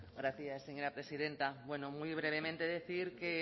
gracias señora presidenta bueno muy brevemente decir que en